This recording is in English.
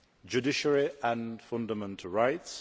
judiciary and fundamental rights